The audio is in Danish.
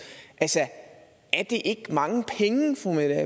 er det ikke mange penge